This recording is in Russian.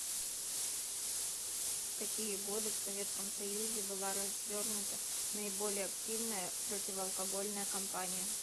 в какие годы в советском союзе была развернута наиболее активная противоалкогольная компания